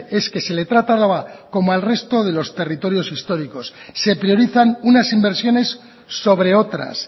es que se le trata a álava como al resto de los territorios históricos se priorizan unas inversiones sobre otras